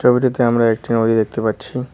ছবিটিতে আমরা একটি নদী দেখতে পাচ্ছি।